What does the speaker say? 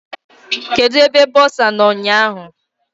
Kedụ ebe bọsa nọ ụnyaahụ?